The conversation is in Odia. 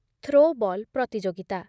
ଥ୍ରୋବଲ୍ ପ୍ରତିଯୋଗିତା